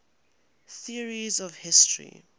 theories of history